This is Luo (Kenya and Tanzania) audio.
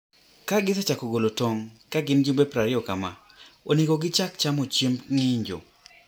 Ka gisechako golo tong' (ka gin gi jumbe prariyo kama), onego gichak chamo chiemb ng'injo.